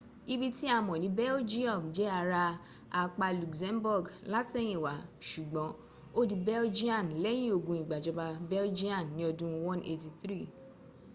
ibi tí a mọ̀ ní belgium jẹ́ ara apá luxembourg látẹ̀yìnwá sùgbọ́n ó di belgian lẹ́yìn ogun ìgbàjọba belgian ní ọdún 183